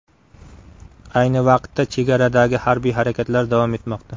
Ayni vaqtda chegaradagi harbiy harakatlar davom etmoqda.